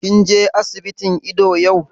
Kin je asibitin ido yau?